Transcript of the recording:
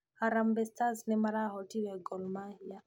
Harambee stars nĩmarahootire Gormahĩa